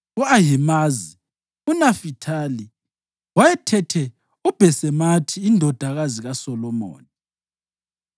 u-Ahimazi eNafithali (wayethethe uBhasemathi indodakazi kaSolomoni);